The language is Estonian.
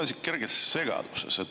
Ma olen kerges segaduses.